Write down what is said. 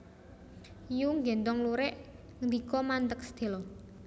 Yu nggéndhong lurik ndika mandheg sedhéla